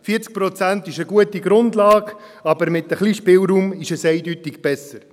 40 Prozent sind eine gute Grundlage, aber mit ein wenig Spielraum ist es eindeutig besser.